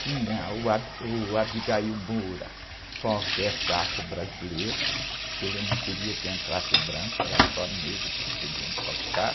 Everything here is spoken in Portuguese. Tinha o Ab, o Abigail Moura com a orquestra afro-brasileira, porque ele não queria que entrasse branco, era só negros que podiam tocar.